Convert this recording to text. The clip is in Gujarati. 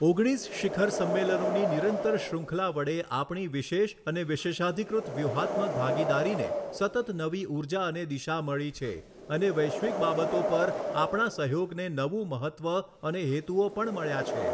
ઓગણીસ શિખર સંમેલનોની નિરંતર શ્રુંખલા વડે આપણી વિશેષ અને વિશેષઅધિકૃત વ્યુહાત્મક ભાગીદારીને સતત નવી ઊર્જા અને દિશા મળી છે અને વૈશ્વિક બાબતો પર આપણા સહયોગને નવું મહત્ત્વ અને હેતુઓ પણ મળ્યા છે.